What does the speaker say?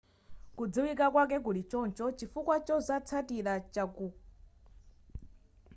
kudziwika kwake kuli choncho chifukwa chazotsatira chakukula kwa dziko lonse